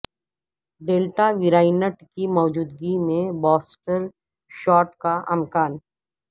delta variant کی موجودگی میں بوسٹر شاٹ کا امکان